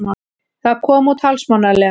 Það kom út hálfsmánaðarlega.